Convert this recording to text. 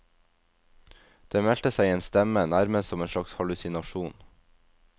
Det meldte seg en stemme, nærmest som en slags hallusinasjon.